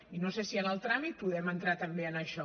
i no sé si en el tràmit podem entrar també en això